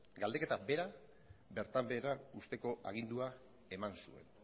galdeketa bera bertan behera uzteko agindua eman zuen